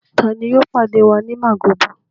Ta ni yóò pàdé wa ní Màgódò?